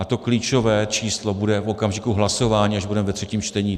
A to klíčové číslo bude v okamžiku hlasování, až budeme ve třetím čtení.